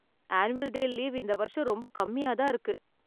Annual day leave இந்த வருஷம் ரொம்ப கம்மியா தான் இருக்கு.